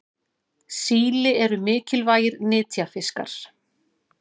síli eru mikilvægir nytjafiskar